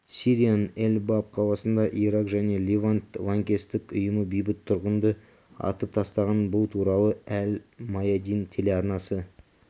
сирияның эль-баб қаласында ирак және левант лаңкестік ұйымы бейбіт тұрғынды атып тастаған бұл туралы әл-маядин телеарнасы